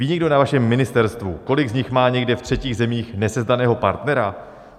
Ví někdo na vašem ministerstvu, kolik z nich má někde ve třetích zemích nesezdaného partnera?